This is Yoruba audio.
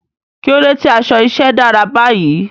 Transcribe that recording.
Kí ló dé tí aṣọ iṣẹ́ dára báyìí?